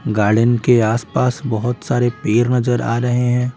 Garden के आस पास बहुत सारे पेर नजर आ रहे हैं।